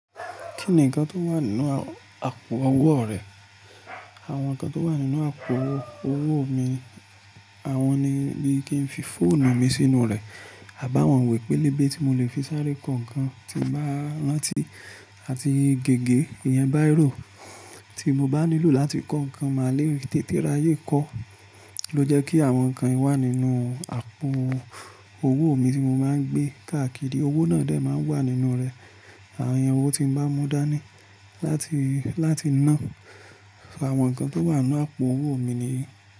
Kí nìkan tí ó wà nínú àpò owó rẹ? Àwọn nǹkan tí ó wà nínú àpò owó mi, àwọn ni bí i kí n fi fóònù mi sínú rẹ̀. A bi awọ́n iwè pé lébè tí mo lè fi sáré kọ̀ nkàn tí mo bá rántí àti gègé ìyẹn báiro tí mo bá nílò láti kọ́ nǹkan máa lé tètè ráyè kọ́ ló jẹ́ kí àwọn nǹkan yìí wà nínú àpò owó mi tí mo máa ń gbé. Kàakiri owó náà de mo wà nínú rẹ̀. Àwọn iru owó tí mo bá mú dání láti, láti ná. Àwọn nǹkan tí ó wà nínú àpò owó mi nìyí.